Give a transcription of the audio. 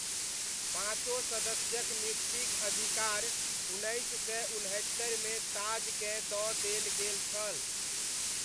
पाँचो सदस्यक नियुक्तिक अधिकार उन्नैस सय उनहत्तरिमे ताजकेँ दऽ देल गेल छल।